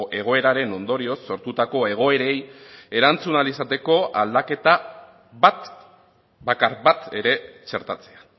egoeraren ondorioz sortutako egoerei erantzun ahal izateko aldaketa bat bakar bat ere txertatzea